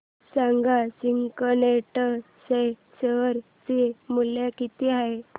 सांगा सिग्नेट चे शेअर चे मूल्य किती आहे